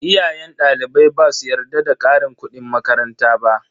Iyayen dalibai basu yarda da karin kudin makaranta ba.